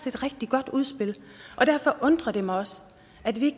et rigtig godt udspil derfor undrer det mig også at vi